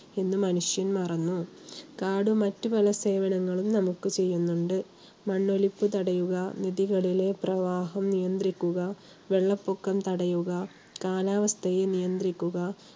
എന്ന് മനുഷ്യൻ മറന്നു. കാട് മറ്റു പല സേവനങ്ങളും നമുക്ക് ചെയ്യുന്നുണ്ട്. മണ്ണൊലിപ്പ് തടയുക, നദികളിലെ പ്രവാഹം നിയന്ത്രിക്കുക, വെള്ളപ്പൊക്കം തടയുക, കാലാവസ്ഥയെ നിയന്ത്രിക്കുക